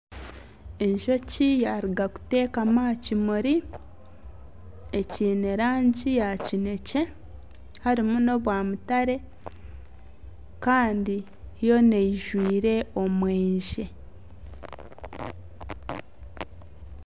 Enjoki yaruga kutekama aha kimuri ekiine rangi ya kinekye harimu nobwamutare Kandi yoona eyijwire omweyangye.